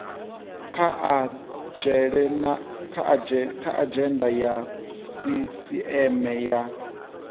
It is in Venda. kha adzhenda ya sisieme ya